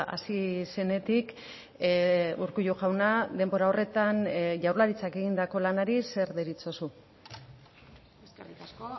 hasi zenetik urkullu jauna denbora horretan jaurlaritzak egindako lanari zer deritzozu eskerrik asko